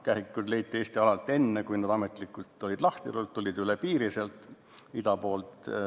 Kährikuid leiti Eesti alalt enne, kui need olid ametlikult lahti lastud, nad tulid üle piiri sealt ida poolt.